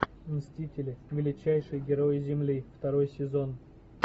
мстители величайшие герои земли второй сезон